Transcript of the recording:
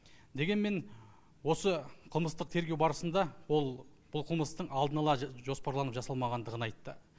дегенмен осы қылмыстық тергеу барысында ол бұл қылмыстың алдын ала жоспарланып жасалмағандығын айтты